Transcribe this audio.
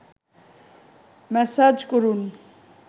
massage করুন